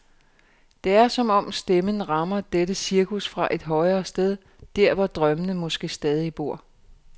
Det er, som om stemmen rammer dette cirkus fra et højere sted, der hvor drømmene måske stadig bor.